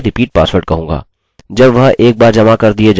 हम फिर से यहाँ password नहीं लिख सकते हैं अतः मैं इसे repeat password कहूँगा